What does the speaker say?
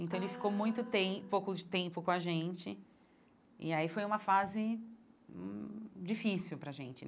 Então, ele ficou muito tem pouco tempo com a gente, e aí foi uma fase hum difícil para a gente.